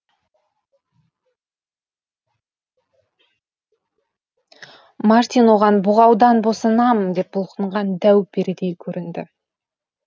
мартин оған бұғаудан босанам деп бұлқынған дәу перідей көрінді